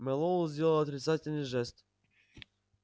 мэллоу сделал отрицательный жест